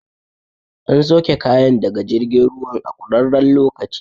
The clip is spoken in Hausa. An sauke kayan daga jirgin ruwan a ƙurarren lokaci